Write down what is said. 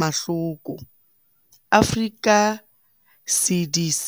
Mahloko, Africa CDC.